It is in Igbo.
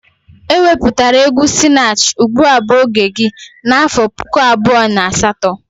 E wepụtara egwu Sinach "ugbua bu oge gi' n'afọ puku abụọ na asatọ